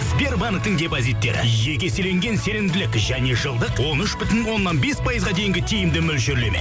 сбербанктің депозиттері жеке еселенген сенімділік және жылдық он үш бүтін оннан бес пайызға дейінгі тиімді мөлшерлеме